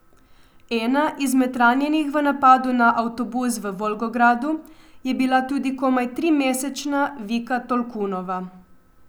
Ena izmed ranjenih v napadu na avtobus v Volgogradu je bila tudi komaj trimesečna Vika Tolkunova.